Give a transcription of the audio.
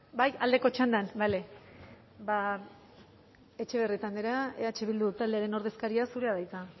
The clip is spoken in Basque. bai aldeko txandan bale etxebarrieta andrea eh bildu taldearen ordezkaria zurea da hitza